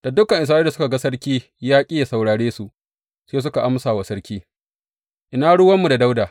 Da dukan Isra’ila suka ga sarki ya ƙi yă saurare su, sai suka amsa wa sarki, Ina ruwanmu da Dawuda!